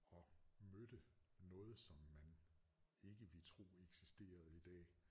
Og mødte noget som man ikke vil tro eksisterede i dag